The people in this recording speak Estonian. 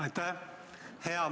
Aitäh!